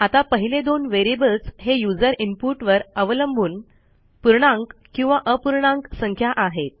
आता पहिले दोन व्हेरिएबल्स हे युजर इनपुटवर अवलंबून पूर्णांक किंवा अपूर्णांक संख्या आहेत